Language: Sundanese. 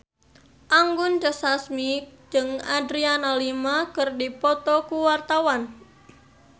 Anggun C. Sasmi jeung Adriana Lima keur dipoto ku wartawan